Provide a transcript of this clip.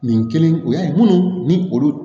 Nin kelen u y'a ye minnu ni olu